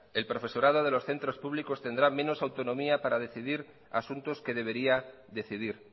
el profesorado de los centros públicos tendrá menos autonomía para decidir asuntos que debería decidir